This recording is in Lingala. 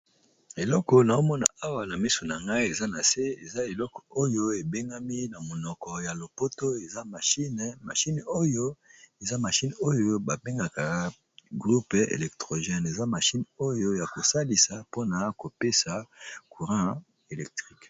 eloko na omona awa na miso na ngai eza na se eza eloko oyo ebengami na monoko ya lopoto eza mine mahine oyo eza mashine oyo babengaka groupe electrogene eza mashine oyo ya kosalisa mpona kopesa courint electrique